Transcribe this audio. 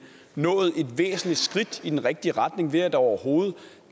nået et væsentligt skridt i den rigtige retning ved at der overhovedet